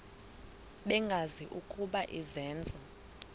bengazi ukuba izenzo